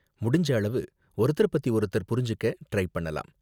முடிஞ்ச அளவு ஒருத்தர பத்தி ஒருத்தர் புரிஞ்சுக்க ட்ரை பண்ணலாம்.